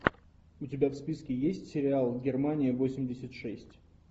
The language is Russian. у тебя в списке есть сериал германия восемьдесят шесть